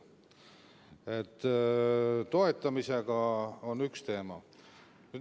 Toetamine on üks teema.